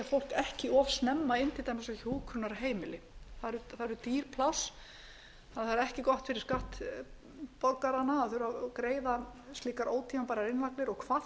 fólk ekki of snemma inn til dæmis á hjúkrunarheimili það eru dýr pláss og það er ekki gott fyrir skattborgarana að greiða slíkar ótímabærar innlagnir og hvað þá